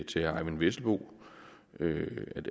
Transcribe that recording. til herre eyvind vesselbo